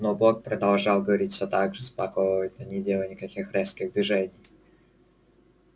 но бог продолжал говорить всё так же спокойно не делая никаких резких движений